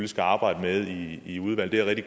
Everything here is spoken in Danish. skal arbejde med det i udvalget det